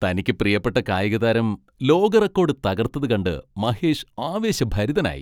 തനിക്കു പ്രിയപ്പെട്ട കായികതാരം ലോക റെക്കോഡ് തകർത്തത് കണ്ട് മഹേഷ് ആവേശഭരിതനായി.